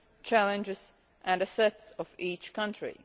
challenges and assets of each country.